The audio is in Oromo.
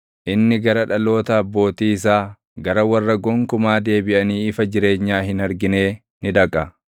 inni gara dhaloota abbootii isaa, gara warra gonkumaa deebiʼanii ifa jireenyaa hin arginee ni dhaqa.